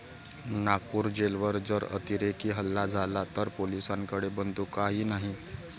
नागपूर जेलवर जर अतिरेकी हल्ला झाला तर पोलिसांकडे बंदुकाही नाही'